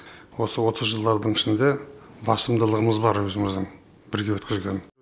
осы отыз жылдардың ішінде басымдылығымыз бар өзіміздің бірге өткізген